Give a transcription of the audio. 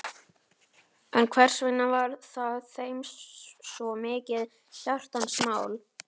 En hversvegna var það þeim svo mikið hjartans mál?